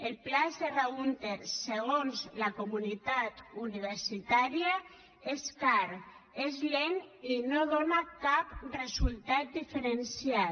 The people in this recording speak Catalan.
el pla serra húnter segons la comunitat universitària és car és lent i no dóna cap resultat diferencial